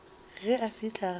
ge a fihla gae a